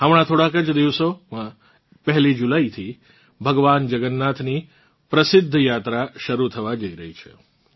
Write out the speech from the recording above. હમણાં થોડાંક જ દિવસોમાં 1 જુલાઇથી ભગવાન જગન્નાથની પ્રસિદ્ધ યાત્રા શરૂ થવા જઇ રહી છે